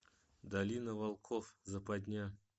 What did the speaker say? долина волков западня